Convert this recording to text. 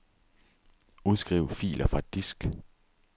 Udskriv filer fra disk.